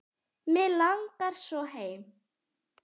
Mig langar svo heim.